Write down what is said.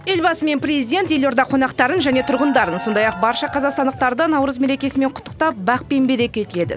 елбасы мен президент елорда қонақтарын және тұрғындарын сондай ақ барша қазақстандықтарды наурыз мерекесімен құттықтап бақ пен береке тіледі